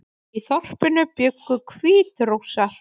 Í þorpinu bjuggu Hvítrússar